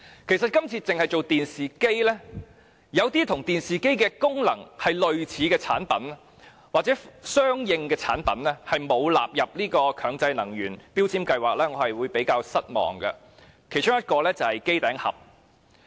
政府這次只納入電視機，一些功能與電視機相若的產品卻仍未納入強制性標籤計劃，我感到比較失望，而機頂盒便是其中一種。